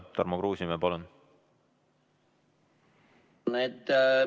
Tarmo Kruusimäe, palun!